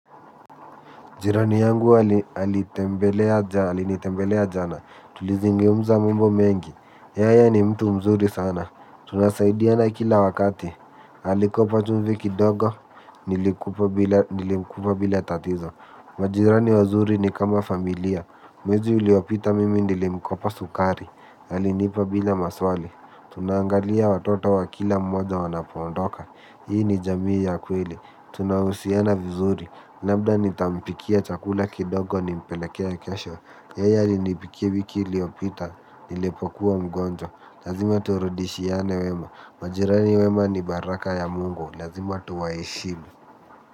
Jirani yangu alinitembelea jana, tulizungumza mambo mengi, yeye ni mtu mzuri sana. Tunasaidiana kila wakati, alikopa chumvi kidogo, nilimkupa bila tatizo. Majirani wazuri ni kama familia, mwezi uliopita mimi nilimkopa sukari, alinipa bila maswali. Tunaangalia watoto wa kila mmoja wanapoondoka, hii ni jamii ya kweli. Tunahusiana vizuri labda nitampikia chakula kidogo ni mpelekee kesho yeye alinipikia wiki iliopita. Nilipokuwa mgonjwa lazima turudishiane wema. Majirani wema ni baraka ya mungu. Lazima tuwaheshimu.